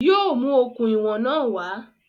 Yóò mú okùn ìwọ̀n náà wá